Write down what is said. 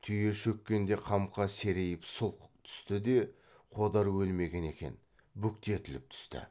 түйе шөккенде қамқа серейіп сұлқ түсті де қодар өлмеген екен бүктетіліп түсті